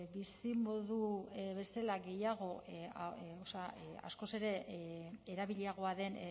bizimodu bezala askoz ere erabiliagoa den